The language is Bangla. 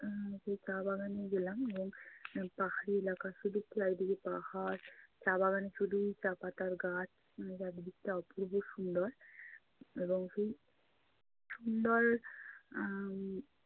আহ সেই চা বাগানে গেলাম এবং পাহাড়ি এলাকা শুধু চারিদিকে পাহাড়। চা বাগানে শুধু চা পাতার গাছ। উম চারদিকটা অপূর্ব সুন্দর। এবং সেই সুন্দর উম